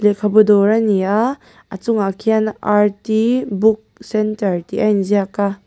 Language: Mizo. khabu dawr ani a a chungah khian book centre tih a inziak a.